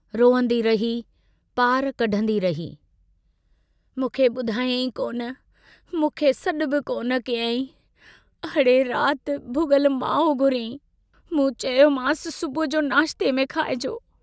रोअंदी रही, पार कढंदी रही, मूंखे बुधायाईं कोन, मूंखे सॾु बि कोन कयाईं... अड़े रात भुगल माओ घुरियाईं... मूं चयोमांस सुबुह जो नाश्ते में खाइजो।